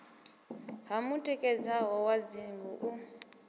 ha mutikedzelo wa dzinnḓu u